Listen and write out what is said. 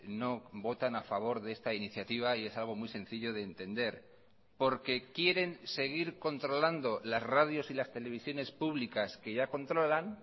no votan a favor de esta iniciativa y es algo muy sencillo de entender porque quieren seguir controlando las radios y las televisiones públicas que ya controlan